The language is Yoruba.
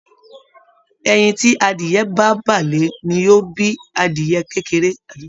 Ẹyin ti adìyẹ̀ ba bà lé ní o bí adìyẹ̀ kékeré.